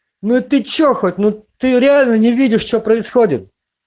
ну ты что хоть ну ты реально не видишь что происходит